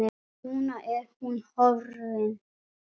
Núna er hún horfin.